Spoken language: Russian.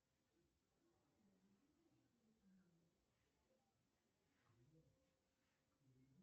алиса включи мою любимую песню сектор газа мне сегодня тридцать лет